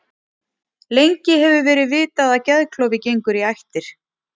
Gengi ensku félaganna var misjafnt í Evrópudeildinni í kvöld.